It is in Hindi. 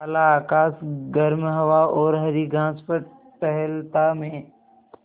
काला आकाश गर्म हवा और हरी घास पर टहलता मैं